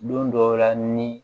Don dɔw la ni